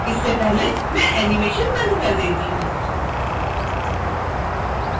इससे पहले मैं एनीमेशन बंद कर देती हूँ